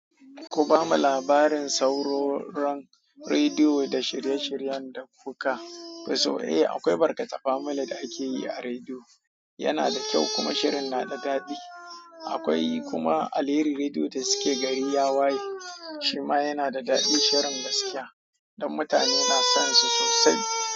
Ku bamu labarin sauroron rediyo da shirye-shiryen da kuka fi so? Eh, akwai barkate famili da ake yi a rediyo, yana da kyau kuma shirin na da daɗi. Akwai kuma alheri rediyo da suke gari yawaye shima yana da daɗi shirin gaskiya, dan mutane na son su sosai.